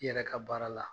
I yɛrɛ ka baara la